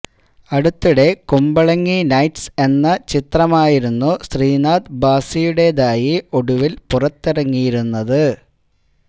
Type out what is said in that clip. അടുത്തിടെ കുമ്പളങ്ങി നൈറ്റ്സ് എന്ന ചിത്രമായിരുന്നു ശ്രീനാഥ് ഭാസിയുടെതായി ഒടുവില് പുറത്തിറങ്ങിയിരുന്നത്